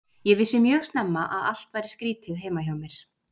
Ég vissi mjög snemma að allt var skrýtið heima hjá mér.